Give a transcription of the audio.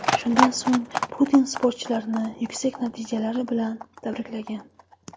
Shundan so‘ng Putin sportchilarni yuksak natijalari bilan tabriklagan.